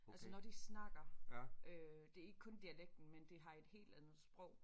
Altså når de snakker øh det er ikke kun dialekten men de har et helt andet sprog